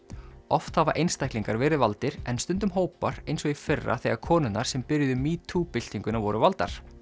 oft hafa einstaklingar verið valdir en stundum hópar eins og í fyrra þegar konurnar sem byrjuðu metoo byltinguna voru valdar